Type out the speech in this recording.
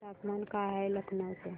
तापमान काय आहे लखनौ चे